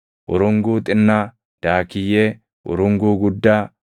urunguu xinnaa, daakiyyee, urunguu guddaa,